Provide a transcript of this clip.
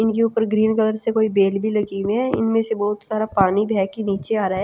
इनके ऊपर green colour से कोई बेल भी लगी है इनमें से बहुत सारा पानी है बह के नीचे आ रहा है।